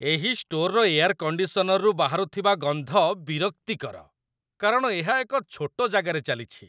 ଏହି ଷ୍ଟୋର୍‌ର ଏୟାର କଣ୍ଡିସନର୍ରୁ ବାହାରୁଥିବା ଗନ୍ଧ ବିରକ୍ତିକର, କାରଣ ଏହା ଏକ ଛୋଟ ଜାଗାରେ ଚାଲିଛି।